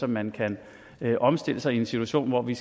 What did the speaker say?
man kan omstille sig i en situation hvor vi